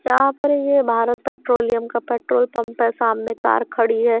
यहाँ पर ये भारत पेट्रोलियम का पेट्रोल पंप है सामने कार खड़ी है।